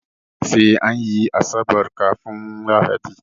Sai anyi asabar kafun lahadi